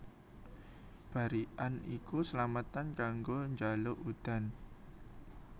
Barikan iku slametan kanggo njaluk udan